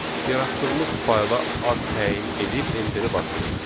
Yaratdığımız fayla ad təyin edib enter basırıq.